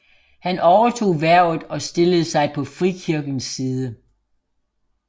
Han overtog hvervet og stillede sig på frikirkens side